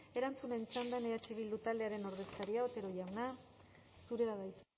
erantzunen txandan eh bildu taldearen ordezkaria otero jauna zurea da hitza